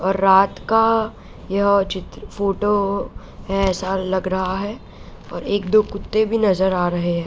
और रात का ये चित्र फोटो है ऐसा लग रहा है और एक-दो कुत्ते भी नजर आ रहे हैं।